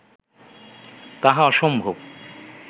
তাহা অসম্ভব